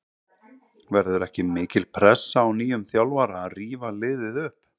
Verður ekki mikil pressa á nýjum þjálfara að rífa liðið upp?